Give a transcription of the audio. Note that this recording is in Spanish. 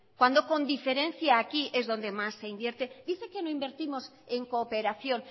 cuando con diferencia aquí es donde más se invierte dice que no invertimos en cooperación